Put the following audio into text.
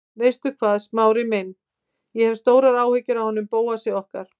Veistu hvað, Smári minn, ég hef stórar áhyggjur af honum Bóasi okkar.